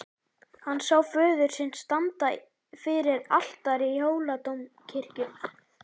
Hann sá föður sinn standa fyrir altari í Hóladómkirkju.